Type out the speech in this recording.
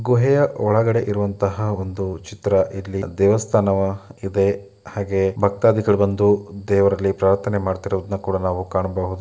ಗುಹೆಯ ಒಳಗಡೆ ಇರುವಂತಹ ಒಂದು ಚಿತ್ರ ಇಲ್ಲಿ ದೇವಸ್ಥಾನವಾಗಿದೆ ಹಾಗೆ ಭಕ್ತಾದಿಗಳ್ ಬಂದು ದೇವರಲ್ಲಿ ಪ್ರಾರ್ಥನೆ ಮಾಡ್ತಿರೋದ್ನ ನಾವು ಕಾಣ್ಬೋದು.